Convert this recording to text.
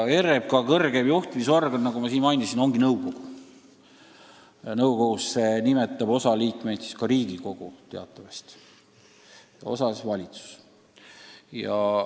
RMK kõrgeim juhtimisorgan, nagu ma juba ütlesin, on nõukogu, kuhu teatavasti osa liikmeid nimetab Riigikogu ja osa valitsus.